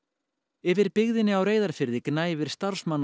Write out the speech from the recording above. yfir á Reyðarfirði gnæfir